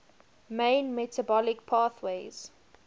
main metabolic pathways